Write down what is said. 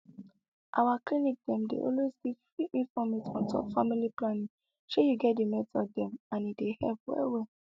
our clinic dem dey always give free informate on top family planning shey you get di method dem and e dey help well well